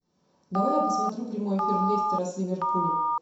давай я посмотрю прямой эфир лестера с ливерпулем